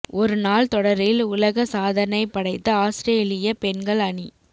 ஒரு நாள் தொடரில் உலக சாதனை படைத்த ஆஸ்திரேலிய பெண்கள் அணி